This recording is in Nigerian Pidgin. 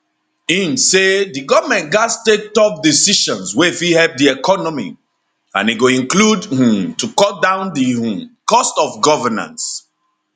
im say di goment gatz take tough decisions wey fit help di economy and e go include um to cut down di um cost of governance